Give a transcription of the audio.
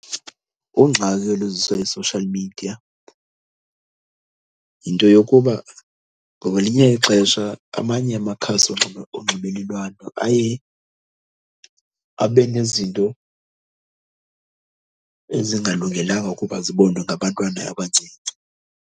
Ungxaki oluziswa yi-social media yinto yokuba ngoba ngelinye ixesha amanye amakhasi onxibelelwano aye abe nezinto ezingalungelanga ukuba zibonwe ngabantwana abancinci.